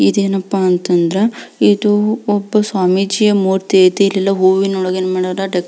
ಇದೇನಪ್ಪ ಅಂತ ಅಂದ್ರೆ ಇದು ಒಬ್ಬ ಸ್ವಾಮೀಜಿಯ ಮೂರ್ತಿ ಅಯ್ತಿ ಇಲ್ಲಿ ಹೂವಿನ ಒಳಗೆ ಡೆಕೋ --